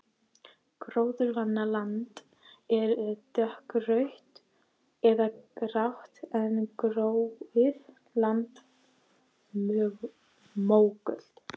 Gróðurvana land er dökkrautt eða grátt en gróið land mógult.